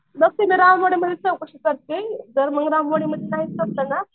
बघते मी रामवाड्यामध्ये चौकशी करते जर मग राम वाड्यामध्ये नाही ना